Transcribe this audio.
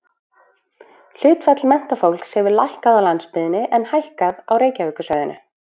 Hlutfall menntafólks hefur lækkað á landsbyggðinni en hækkað á Reykjavíkursvæðinu.